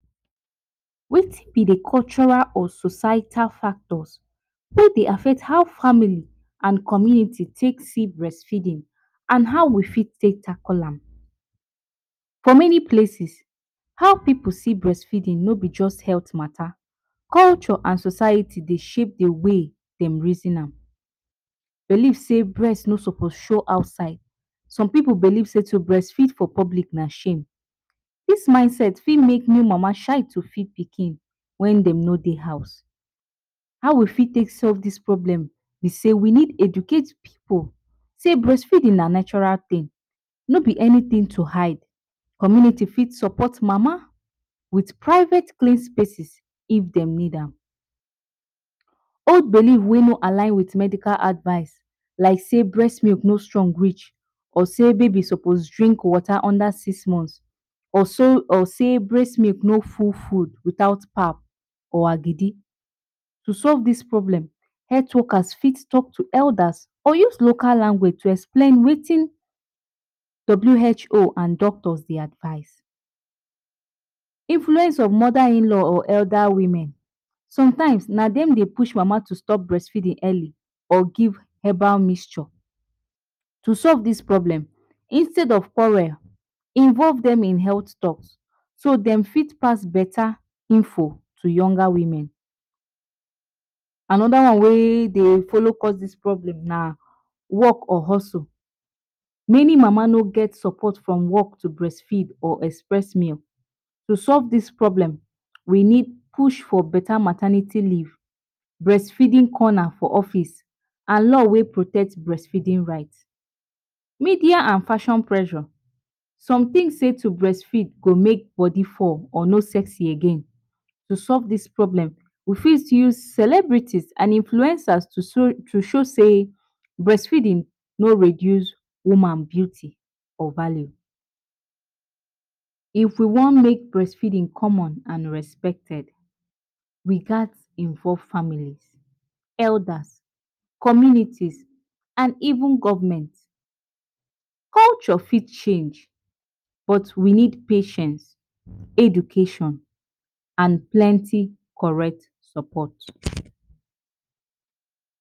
Wetin b d cultural and societal factors wey Dey affect how families and communities take see breast feeding and how we fit take tackle am, for many places how many pipu see breast feeding no b just health mata, culture and society Dey shape d way dem reason am, believe sey breast no suppose show outside some believe sey to breastfeed for public na shame, dis mind set fit make mama shy to feed pikin wen dem no Dey house, how we got take solve dis problem b sey we need educate pipu sey breastfeeding na natural tin no b anytin to hide, community for support mama wit private place if dem need am. Old believe wey no align with medical advice like sey breast milk no strong reach or sey baby suppose drink water under six months or sey breast milk no full food without pap or agidi, to solve dis problem health works fit talk to elders or use local language to explain Wetin WHO and doctors dey advise, influence of mother in-law or elder women sometimes na dem dey push mama to stop breastfeeding early or give herbal mixture to solve dis problem instead of quarrel involve dem in health talks so dem for pass beta info to younger women, anoda one wey dey follow cause dis problem na work or hustle, many mama no get support from work to breastfeed or express meal to solve dis problem we need push for beta maternity leave, breastfeeding corner for office and law wey protect breastfeeding rights, media and passion pressure, some think sey to breastfeed to make body fall or no sexy again, to solve dis problem we fit use celebrities and influencers to show sey breast feeding no reduce woman beauty or value. If we wan make breastfeeding common and respected we gats involve family, elders, communities and even government, culture fit change but we need patience education and plenty correct support.